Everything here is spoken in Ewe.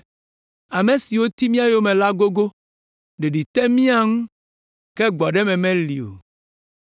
Ame siwo ti mía yome la gogo, ɖeɖi te mía ŋu, ke gbɔɖeme meli o.